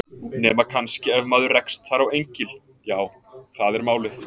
Nema kannski ef maður rekst þar á engil. já, það er málið.